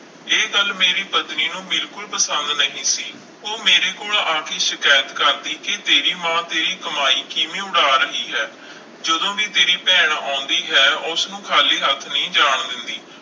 ਇਹ ਗੱਲ ਮੇਰੀ ਪਤਨੀ ਨੂੰ ਬਿਲਕੁਲ ਪਸੰਦ ਨਹੀਂ ਸੀ, ਉਹ ਮੇਰੇ ਕੋਲ ਆ ਕੇ ਸ਼ਿਕਾਇਤ ਕਰਦੀ ਕਿ ਤੇਰੀ ਮਾਂ ਤੇਰੀ ਕਮਾਈ ਕਿਵੇਂ ਉਡਾ ਰਹੀ ਹੈ ਜਦੋਂ ਵੀ ਤੇਰੀ ਭੈਣ ਆਉਂਦੀ ਹੈ, ਉਸਨੂੰ ਖਾਲੀ ਹੱਥ ਨਹੀਂ ਜਾਣ ਦਿੰਦੀ।